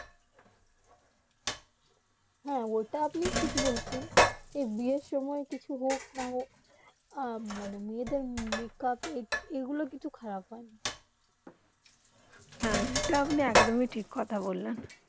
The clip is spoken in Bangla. হেঁ ওটা আপনি ঠিক বলছেন বিয়ে সময়ে কিছু হোক না হোক মে দের মেকআপ এই গুলু কিছু খারাব হয়ে না হেঁ এইটা আপনি এক ডোম ঠিক কথা বললেন